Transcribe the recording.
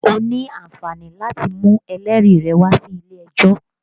O ní àǹfààní láti mú ẹlẹ́rìí rẹ wá sí ilé ẹjọ́